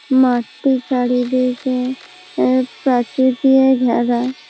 মাঠ টির চারিদিকে প্রাচীর দিয়ে ঘেরা।